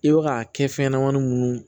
I bɛ ka kɛ fɛn ɲɛnɛmani minnu